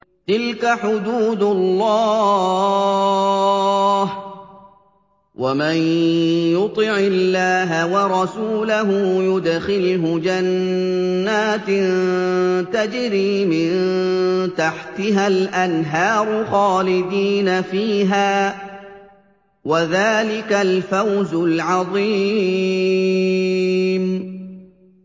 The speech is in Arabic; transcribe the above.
تِلْكَ حُدُودُ اللَّهِ ۚ وَمَن يُطِعِ اللَّهَ وَرَسُولَهُ يُدْخِلْهُ جَنَّاتٍ تَجْرِي مِن تَحْتِهَا الْأَنْهَارُ خَالِدِينَ فِيهَا ۚ وَذَٰلِكَ الْفَوْزُ الْعَظِيمُ